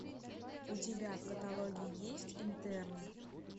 у тебя в каталоге есть интерны